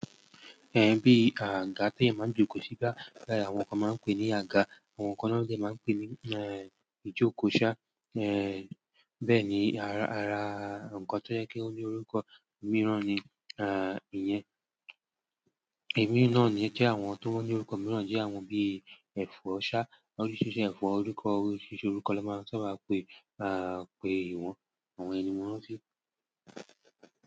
Bí àga tí èèyàn máa ń jókòó síi, àwọn kan máa ń pè é ní àga, àwọn kan de máa ń pè é ni ijoko saa, bẹ́ẹ̀ ni ara nǹkan tó jẹ́ kí ó ní orúkọ mìíràn ni ìyẹn. Ẹ̀mí náà ní ẹ́ jẹ́ àwọn tó ní orúkọ mìíràn jẹ́ àwọn bíi ẹ̀fọ́ ṣá, oríṣiríṣi ẹ̀fọ́ orúkọ, oríṣiríṣi orúkọ ló máa sábà pe wọ̀n àwọn eyen ni mọ́ rántí.